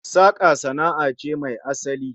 Saka sana'a ce mai asali